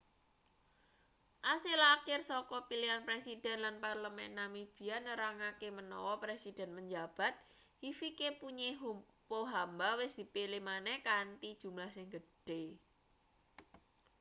asil akhir saka pilihan presiden lan parlemen namibia nerangake menawa presiden menjabat hifikepunye pohamba wis dipilih maneh kanthi jumlah sing gedhe